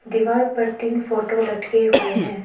दीवार पर तीन फोटो लटके हुए हैं।